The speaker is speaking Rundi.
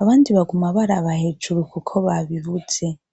abandi baguma baraba hejuru, kuko babibuze.